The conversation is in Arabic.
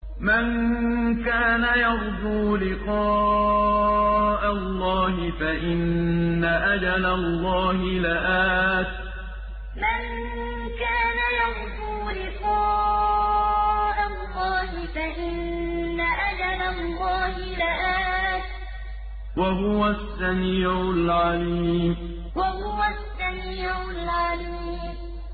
مَن كَانَ يَرْجُو لِقَاءَ اللَّهِ فَإِنَّ أَجَلَ اللَّهِ لَآتٍ ۚ وَهُوَ السَّمِيعُ الْعَلِيمُ مَن كَانَ يَرْجُو لِقَاءَ اللَّهِ فَإِنَّ أَجَلَ اللَّهِ لَآتٍ ۚ وَهُوَ السَّمِيعُ الْعَلِيمُ